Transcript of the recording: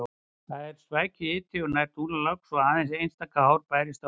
Það var svækjuhiti og nær dúnalogn svo aðeins einstaka hár bærðist á höfði.